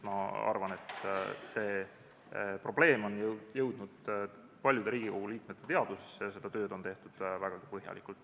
Ma arvan, et see probleem on jõudnud paljude Riigikogu liikmete teadvusesse ja seda tööd on tehtud vägagi põhjalikult.